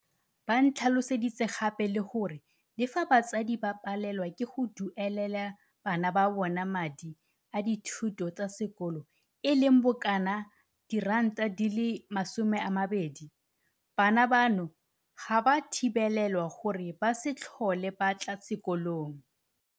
Ba ntlhaloseditse gape le gore le fa batsadi ba palelwa ke go duelelela bana ba bona madi a dithuto tsa sekolo e leng bokanaka R20, bana bano ga ba thibelwe gore ba se tlhole ba tla sekolong.